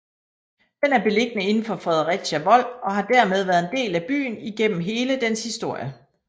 Den er beliggende inden for Fredericia Vold og har dermed været en del af byen igennem hele dens historie